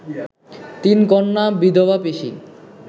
তিন কন্যা, বিধবা পিসি